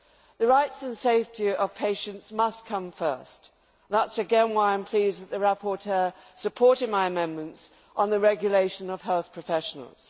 The rights and safety of patients must come first. That, again, is why I am pleased that the rapporteur supported my amendments on the regulation of health professionals.